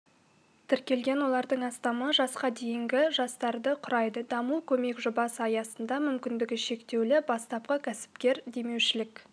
тіркелген олардың астамы жасқа дейінгі жастарды құрайды даму-көмек жобасы аясында мүмкіндігі шектеулі бастапқы кәсіпкер демеушілік